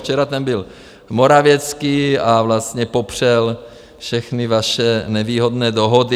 Včera tam byl Morawiecki a vlastně popřel všechny vaše nevýhodné dohody.